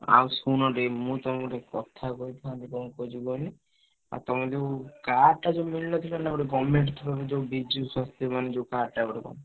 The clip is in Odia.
ଆଉ ଶୁଣ ଟିକେ ମୁଁ ତମୁକୁ କଥା କହିଥାନ୍ତି କଣ କହୁଛି କୁହନି ଆଉ ତମ ଯୋଉ card ଟା ଯୋଉ ମିଳିନଥିଲା ନା ଗୋଟେ government ର ଯୋଉ ବିଜୁ ସ୍ବାସ୍ଥ୍ୟ ମାନେ ଯୋଉ card ଟା ଗୋଟେ।